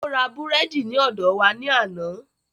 Ó ra búrẹ́dì ní ọ̀dọ wa ní àná